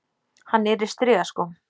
Hann er í strigaskóm.